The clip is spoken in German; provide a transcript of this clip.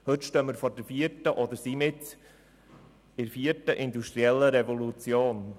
Heute stehen wir vor oder sind mitten in der vierten industriellen Revolution.